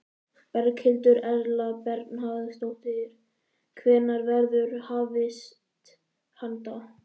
Berghildur Erla Bernharðsdóttir: Hvenær verður hafist handa?